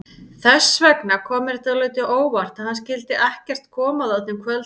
Þess vegna kom mér dálítið á óvart að hann skyldi ekkert koma þarna um kvöldið.